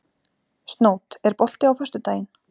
Snót, er bolti á föstudaginn?